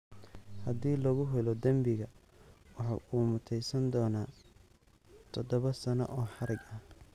Hadii lagu helo dambiga waxa uu muteysan doonaa todoba sano oo xarig ah.